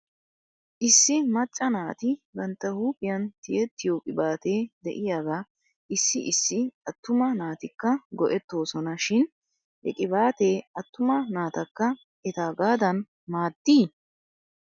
Issi macca naati bantta huuphphiyan tiyettiyoo qibaatee de'iyaagaa issi issi attuma naatikka go'etoosona shin he qibaatee attuma naatakka etaagaadan maadii?